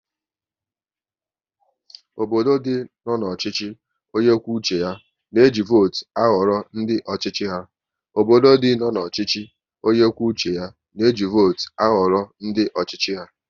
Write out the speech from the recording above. Obodo dị nọ n'ọchịchị onye kwuo uche ya na eji votu ahọrọ ndị ọchịchị ha